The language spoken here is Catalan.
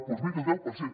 doncs miri el deu per cent